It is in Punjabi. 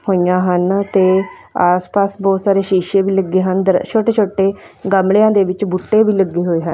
ਹੋਈਆਂ ਹਨ ਤੇ ਆਸਪਾਸ ਬਹੁਤ ਸਾਰੇ ਸ਼ੀਸ਼ੇ ਵੀ ਲੱਗੇ ਹਨ ਛੋਟੇ ਛੋਟੇ ਗਮਲਿਆਂ ਦੇ ਵਿੱਚ ਬੂਟੇ ਵੀ ਲੱਗੇ ਹੋਏ ਹਨ।